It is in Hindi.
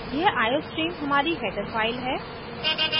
यह iostream हमारी header file है